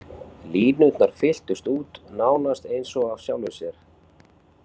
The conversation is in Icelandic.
Línurnar fylltust út, nánast eins og af sjálfu sér.